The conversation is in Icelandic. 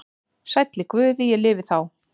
Sæll í Guði ég lifi þá.